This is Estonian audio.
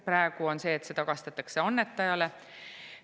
Praegu tagastatakse see annetajale.